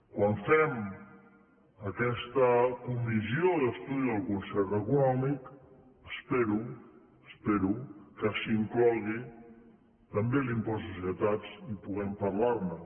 quan fem aquesta comissió d’estudi del concert econòmic espero espero que s’hi inclogui també l’impost de societats i puguem parlar ne